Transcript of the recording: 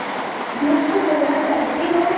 मुक्त होना चाहते हो